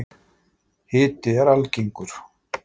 Hiti er algengur.